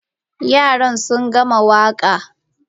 Yara sun gama waka.